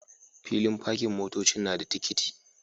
Filin pakin motocin nada tikiti